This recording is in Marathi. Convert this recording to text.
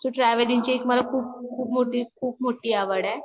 सो टेव्हलींग ची एक मला एक खूप, खूप मोठी, खूप मोठी आवड आहे